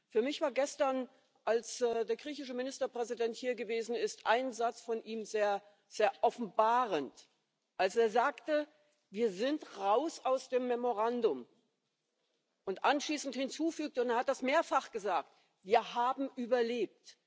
Für mich war gestern, als der griechische Ministerpräsident hier gewesen ist, ein Satz von ihm sehr offenbarend, als er sagte Wir sind heraus aus dem Memorandum, und anschließend hinzufügte und er hat das mehrfach gesagt Wir haben überlebt.